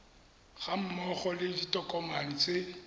ga mmogo le ditokomane tse